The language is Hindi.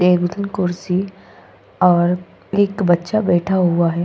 कुर्सी और एक बच्चा बैठा हुआ है।